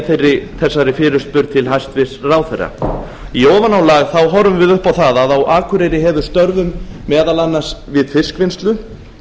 ég þessari fyrirspurn til hæstvirts ráðherra í ofanálag horfum við upp á það að á akureyri hefur störfum meðal annars við fiskvinnslu